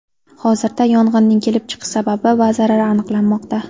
Hozirda yong‘inning kelib chiqish sababi va zarari aniqlanmoqda.